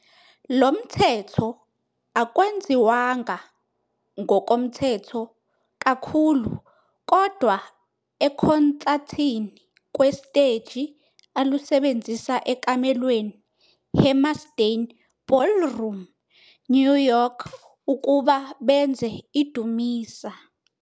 Lo mthetho akwenziwanga ngokomthetho kakhulu kodwa ekhonsathini kwesiteji alusebenzisa ekamelweni Hammerstein Ballroom, New York, ukuba benze idumisa.